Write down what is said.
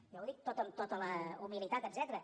jo ho dic tot amb tota la humilitat etcètera